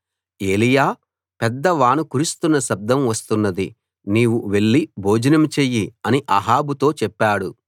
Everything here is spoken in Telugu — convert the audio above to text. ఏలీయా పెద్ద వాన కురుస్తున్న శబ్దం వస్తున్నది నీవు వెళ్లి భోజనం చెయ్యి అని అహాబుతో చెప్పాడు